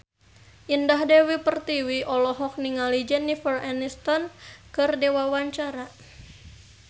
Indah Dewi Pertiwi olohok ningali Jennifer Aniston keur diwawancara